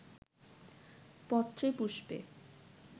পত্রেপুষ্পে